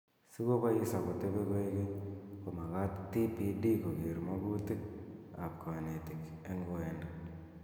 Si kobois akotebe koekeny ,komakat TPD koker makutik ab kanetik eng oendo